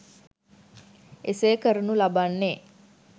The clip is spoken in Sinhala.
එසේ කරනු ලබන්නේ